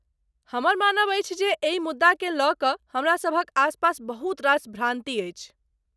हमर मानब अछि जे एहि मुद्दाकेँ लऽ कऽ हमरासभक आसपास बहुत रास भ्रान्ति अछि।